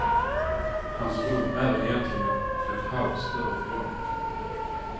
Hans rum är egentligen ett halvt större rum.